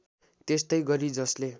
त्यस्तै गरी जसले